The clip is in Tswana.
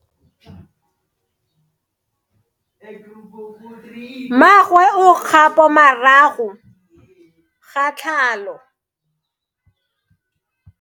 Mmagwe o kgapo morago ga tlhalo.